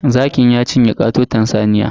Zakin ya cinye katoton saniya.